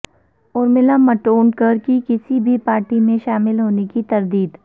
ارمیلا مٹونڈکر کی کسی بھی پارٹی میں شامل ہونے کی تردید